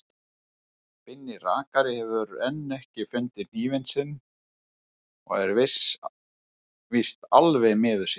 Binni rakari hefur enn ekki fundið hnífinn sinn og er víst alveg miður sín.